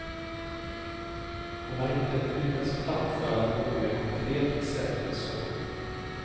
Hon har inte lyckats framföra något mer konkret recept än så.